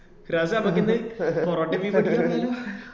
Firas ഏ ഞമ്മക്ക ഇന്ന് പൊറോട്ട beef കൂട്ടി വന്നാലോ